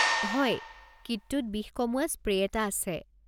হয়, কিটটোত বিষ কমোৱা স্প্ৰে' এটা আছে।